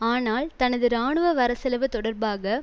ஆனால் தனது இராணுவ வரவு செலவு தொடர்பாக